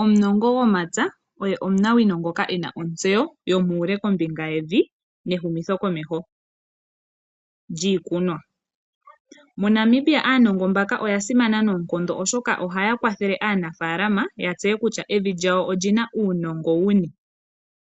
Omunongo gomapya oye omunawino ngoka ena otseyo yomuule kombinga yevi nehumitho komeho lyiikunwa. MoNamibia aanogo mbaka oya simana noonkondo oshoka ohaya kwathele aanafalama ya tseye kutya evi lyawo olina uunongo wuni.